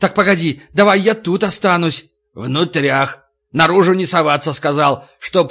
так погоди давай я тут останусь внутрях наружу не соваться сказал чтобы